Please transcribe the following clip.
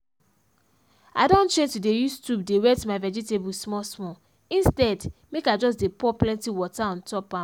i don change to dey use tube dey wet my vegetables small small instead make i just dey pour plenty water on top am